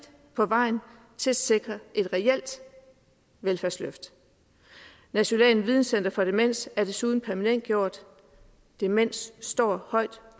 på vejen til at sikre et reelt velfærdsløft nationalt videnscenter for demens er desuden permanentgjort demens står højt